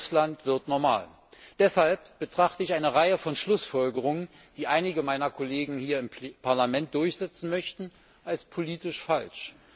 Russland wird normal. Deshalb betrachte ich eine Reihe von Schlussfolgerungen, die einige meiner Kollegen hier im Parlament durchsetzen möchten, als politisch falsch.